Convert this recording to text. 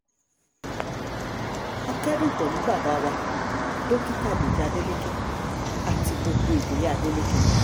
a kẹ́dùn pẹ̀lú bàbá wa dókítà dèjì adeleke àti gbogbo ìdílé adeleke